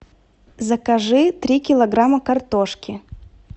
закажи три килограмма картошки